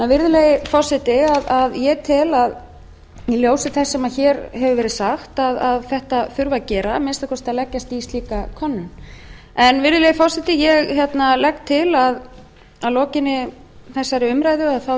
virðulegi forseti ég tel í ljósi þess sem hér hefur verið sagt að þetta þurfi að gera að minnsta kosti að leggja í slíka könnun virðulegi forseti ég legg til að að lokinni þessari umræðu